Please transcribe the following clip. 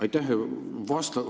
Aitäh!